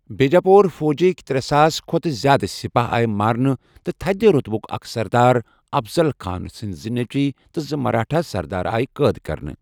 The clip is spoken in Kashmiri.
بیجاپوٗر فوجٕکہِ ترےساس کھۄتہٕ زِیٛادٕ سِپاہ آیہِ مارنہٕ تہٕ تھدِ روطبٗك اكھ سردار ، افضل خانٕ سندِ زٕ نیٚچِوِ تہٕ زٕ مراٹھا سردار ٲیہ قٲد کٔرنہٕ ۔